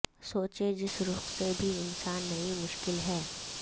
سوچے جس رخ سے بھی انسان نئی مشکل ہے